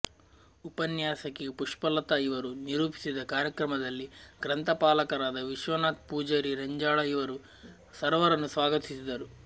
ಉಪನ್ಯಾಸಕಿ ಪುಷ್ಪಲತಾ ಇವರು ನಿರೂಪಿಸಿದ ಕಾರ್ಯಕ್ರಮದಲ್ಲಿ ಗ್ರಂಥಪಾಲಕರಾದ ವಿಶ್ವನಾಥ್ ಪೂಜಾರಿ ರೆಂಜಾಳ ಇವರು ಸರ್ವರನ್ನು ಸ್ವಾಗತಿಸಿದರು